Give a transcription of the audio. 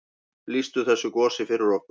Lýstu þessu gosi fyrir okkur.